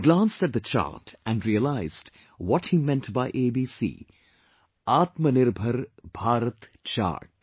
I glanced at the chart and realised what he meant by ABC...Atmanirbhar Bharat Chart